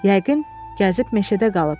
Yəqin, gəzib meşədə qalıb.